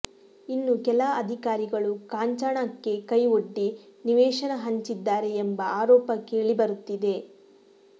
ಇನ್ನು ಕೆಲ ಅಧಿಕಾರಿಗಳು ಕಾಂಚಾಣಕ್ಕೆ ಕೈ ಒಡ್ಡಿ ನಿವೇಶನ ಹಂಚಿದ್ದಾರೆ ಎಂಬ ಆರೋಪ ಕೇಳಿ ಬರುತ್ತಿದೆ